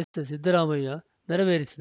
ಎಸ್‌ಸಿದ್ದರಾಮಯ್ಯ ನೆರವೇರಿಸಿದರು